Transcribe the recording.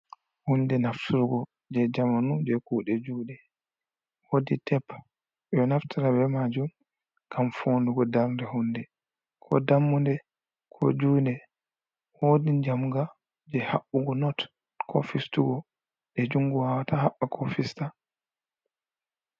Hunde naftugo je zamanu je kuɗe juɗe, wodi tep ɓe ɗo naftira be majun ngam fondugo darnde hunde, ko dammuɗe, ko juɗe, wodi jamga je haɓɓugo not ko fistugo je jungo wawata haɓɓa ko fista.